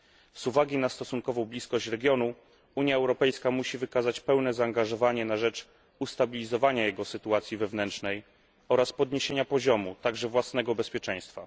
Z uwagi na stosunkową bliskość regionu Unia Europejska musi wykazać pełne zaangażowanie na rzecz ustabilizowania jego sytuacji wewnętrznej oraz podniesienia poziomu, także własnego bezpieczeństwa.